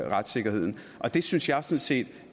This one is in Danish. retssikkerheden og det synes jeg sådan set